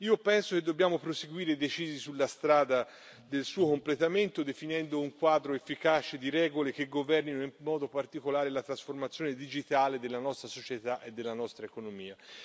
Io penso che dobbiamo proseguire decisi sulla strada del suo completamento, definendo un quadro efficace di regole che governino in modo particolare la trasformazione digitale della nostra società e della nostra economia.